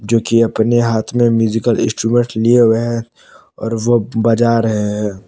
जो की अपने हाथ में म्यूजिकल इंस्ट्रूमेंट्स लिए हुए हैं और वो बजा रहे है।